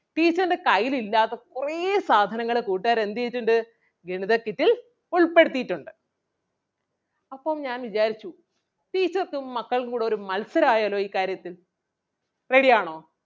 teacher ൻ്റെ കയ്യിൽ ഇല്ലാത്ത കുറേ സാധനങ്ങള് കൂട്ടുകാര് എന്ത് ചെയ്തിട്ടുണ്ട് ഗണിത kit ൽ ഉൾപ്പെടുത്തിയിട്ടുണ്ട് അപ്പം ഞാൻ വിചാരിച്ചു teacher ക്കും മക്കൾക്കും കൂടെ ഒരു മത്സരം ആയല്ലോ ഈ കാര്യത്തിൽ. Ready ആണോ?